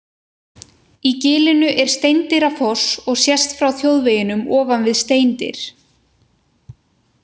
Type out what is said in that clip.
Í gilinu er Steindyrafoss og sést frá þjóðveginum ofan við Steindyr.